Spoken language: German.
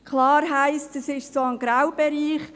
Klar, es heisst, es sei ein Graubereich.